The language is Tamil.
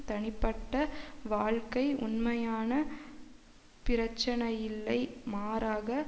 தனிப்பட்ட வாழ்க்கை உண்மையான பிரச்சினையில்லை மாறாக